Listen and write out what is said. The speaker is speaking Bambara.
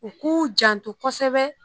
U k'u janto kosɛbɛ